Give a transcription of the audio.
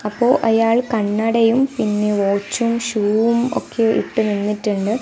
അപ്പോ അയാൾ കണ്ണടയും പിന്നെ വാച്ചും ഷൂവും ഒക്കെ ഇട്ട് നിന്നിട്ടുണ്ട്.